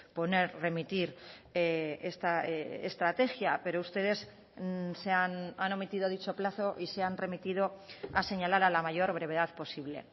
poner remitir esta estrategia pero ustedes han omitido dicho plazo y se han remitido a señalar a la mayor brevedad posible